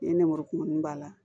Ni nɛmurukumuni b'a la